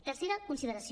tercera consideració